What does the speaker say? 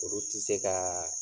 Olu ti se ka